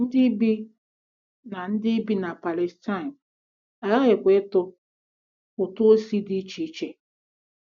Ndị bi na Ndị bi na Palestine aghaghịkwa ịtụ ụtụ isi dị iche iche.